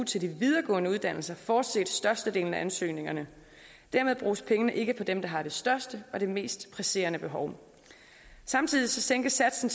til de videregående uddannelser fortsat størstedelen af ansøgningerne dermed bruges pengene ikke på dem der har det største og det mest presserende behov samtidig sænkes satsen